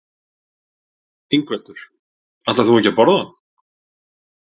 Ingveldur: Ætlar þú ekki að borða hann?